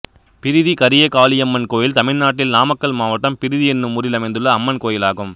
பிரிதி கரியகாளியம்மன் கோயில் தமிழ்நாட்டில் நாமக்கல் மாவட்டம் பிரிதி என்னும் ஊரில் அமைந்துள்ள அம்மன் கோயிலாகும்